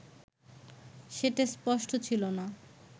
সেটা স্পষ্ট ছিল না